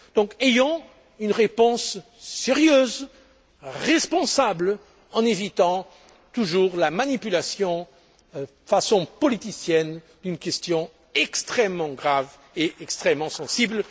sociétés. Donc, apportons une réponse sérieuse, responsable, en évitant toujours la manipulation politicienne d'une question extrêmement grave et extrêmement